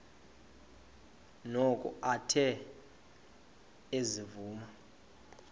noko athe ezivuma